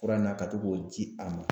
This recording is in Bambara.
Fura in na ka to k'o di a ma